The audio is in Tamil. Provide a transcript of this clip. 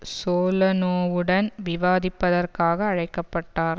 சோலனாவுடன் விவாதிப்பதற்காக அழைக்க பட்டார்